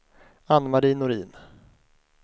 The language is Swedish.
Anne-Marie Norin